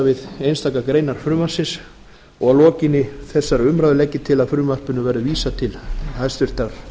við einstakar greinar frumvarpinu og að lokinni þessari umræðu legg ég til að frumvarpinu verði vísað til hæstvirtrar